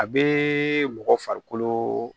A bee mɔgɔ farikolo